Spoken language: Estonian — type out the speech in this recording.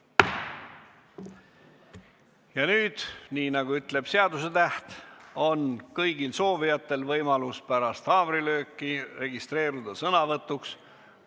Ja nüüd, nii nagu ütleb seadusetäht, on kõigil soovijatel võimalus pärast haamrilööki registreeruda sõnavõtuks vaba mikrofoni formaadis.